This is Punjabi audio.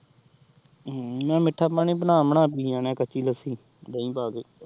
ਹਮਮ ਮੈ ਮੀਠਾ ਪਾਣੀ ਬਣਾ ਬਣਾ ਪੀ ਜਾਂਦਾ ਆਹ ਕਚੀ ਲੱਸੀ ਦਹੀ ਪਾ